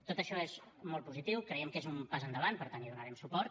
tot això és molt positiu creiem que és un pas endavant per tant hi donarem suport